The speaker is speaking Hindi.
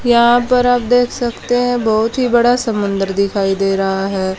यहां पर आप देख सकते हैं बहुत ही बड़ा समुंदर दिखाई दे रहा है।